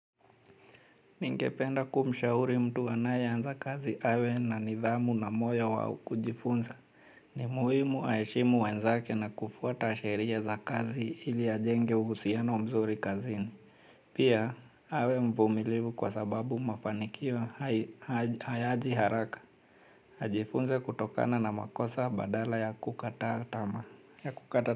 Ningependa kumshahuri mtu anayeanza kazi awe na nidhamu na moyo wa kujifunza. Ni muhimu aheshimu wenzake na kufuata sheria za kazi ili ajenge uhusiano mzuri kazini. Pia awe mvumilivu kwa sababu mafanikio hayaji haraka. Ajifunze kutokana na makosa badala ya kukata tamaa ya kukata.